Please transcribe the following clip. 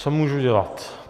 Co můžu dělat?